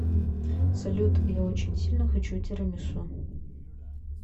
салют я очень сильно хочу тирамису